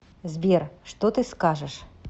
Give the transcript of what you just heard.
сбер что ты скажешь